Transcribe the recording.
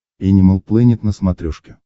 энимал плэнет на смотрешке